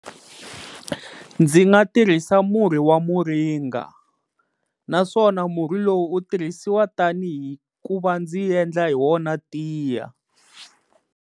Ndzi nga tirhisa murhi wa muringa naswona murhi lowu wu tirhisiwa tanihi ku va ndzi endla hi wona tiya.